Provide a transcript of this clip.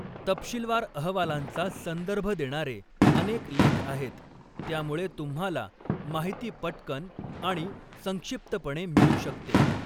तपशीलवार अहवालांचा संदर्भ देणारे अनेक लेख आहेत, त्यामुळे तुम्हाला माहिती पटकन आणि संक्षिप्तपणे मिळू शकते.